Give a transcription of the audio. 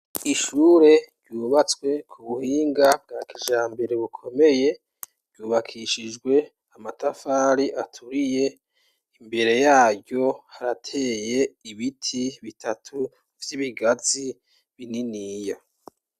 Ishure ryubatswe ku buhinga bwa kijambere, bukomeye, ryubakishijwe amatafari aturiye; imbere yaryo, harateye ibiti bitatu vy'ibigazi, bininiya.